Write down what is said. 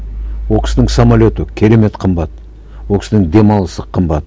ол кісінің самолеты керемет қымбат ол кісінің демалысы қымбат